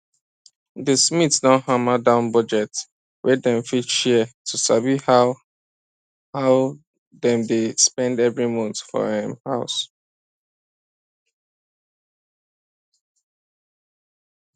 the smiths don hammer down budget wey dem fit share to sabi how how dem dey spend every month for um house